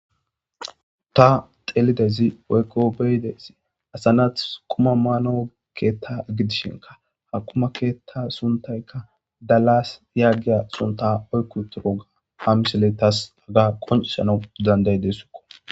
Ta xelidezi woykko beyidayssi asa nati quma maanaw keetta gidishinka ha kuma keetta suntaykka dalaas yaagida sunta oykkuturo ga ha misile taas qonccisana dandayidesskko.